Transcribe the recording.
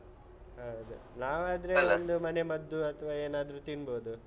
ಹೌದು ನಾವಾದ್ರೆ. ಒಂದು ಮನೆ ಮದ್ದು ಅಥ್ವಾ ಏನಾದ್ರು ತಿನ್ಬೋದು.